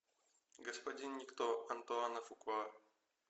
господин никто антуана фукуа